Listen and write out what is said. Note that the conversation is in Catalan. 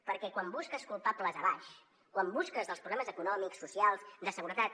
perquè quan busques culpables a baix quan busques els problemes econòmics socials de seguretat